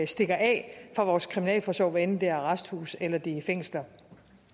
stikker af fra vores kriminalforsorg hvad enten det er arresthuse eller det er fængsler